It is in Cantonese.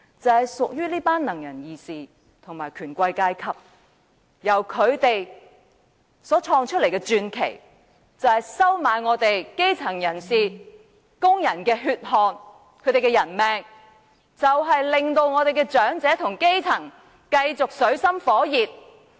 就是屬於這群"能人異士"和權貴階級，由他們所創的傳奇就是收買基層人士和工人的血汗和人命，以及令長者和基層繼續活在水深火熱。